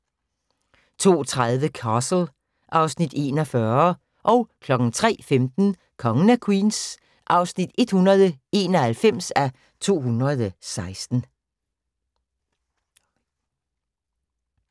02:30: Castle (Afs. 41) 03:15: Kongen af Queens (191:216)